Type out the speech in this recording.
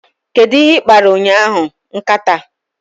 Kedu ihe ị kpara ụnyahụ, nkata?